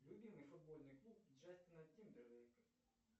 любимый футбольный клуб джастина тимберлейка